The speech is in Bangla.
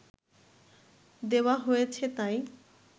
দেওয়া হয়েছে তাই